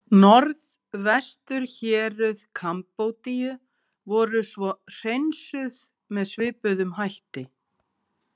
Norðvesturhéruð Kambodíu voru svo „hreinsuð“ með svipuðum hætti.